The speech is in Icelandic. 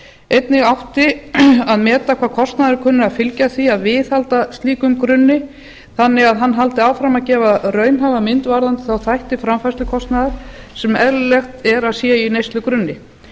einnig átti að meta hvaða kostnaður kunni að fylgja því að viðhalda slíkum grunni þannig að hann haldi áfram að gefa raunhæfa mynd varðandi þá þætti framfærslukostnaðar sem eðlilegt er að sé í neyslugrunni